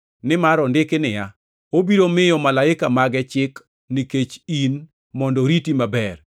Nimar ondiki niya, “ ‘Obiro miyo malaika mage chik nikech in mondo oriti maber;